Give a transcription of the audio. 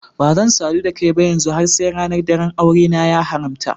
Bazan sadu da kai ba yanzu har sai ranar daran aure na ya haramta.